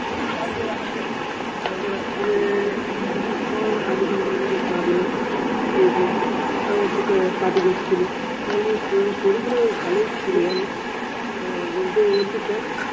কালকে রাত্রীরে কালকে রাত্রীরে কিছুক্ষন আধঘন্টার মতো কাঁদলো শেষে আমি একটু কাঠি করছিলাম মানে story গুলো বেশ ভালোই ছিল আহ বলছে কেন